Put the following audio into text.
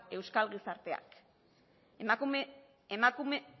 euskal gizarteak